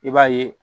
I b'a ye